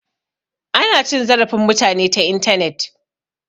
Ana cin zarafin mutane ta intanet